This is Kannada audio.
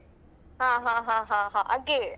ಹ ಹ ಹ ಹ ಹ ಹಾಗೆ.